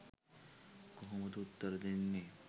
කොහොමද උත්තර දෙන්නේ